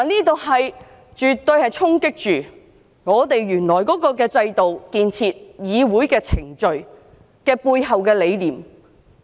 這絕對會衝擊立法會原來的制度、議會程序背後的理念。